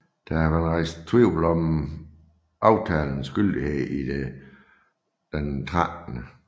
Der har været rejst tvivl om aftalens gyldighed idet den 13